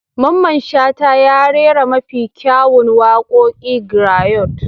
Mamman Shata ya rera mafi kyawun waƙoƙin grayot.